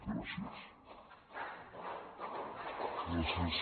gràcies